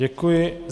Děkuji.